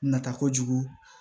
Nata kojugu